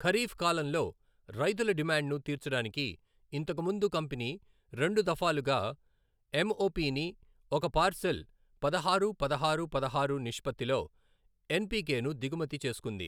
ఖరీఫ్ కాలంలో రైతుల డిమాండ్ను తీర్చడానికి ఇంతకు ముందు కంపెనీ రెండు దఫాలుగా ఎంఒపిని, ఒక పార్సెల్, పదహారు, పదహారు, పదహారు నిష్పత్తిలో ఎన్పికెను దిగుమతి చేసుకుంది.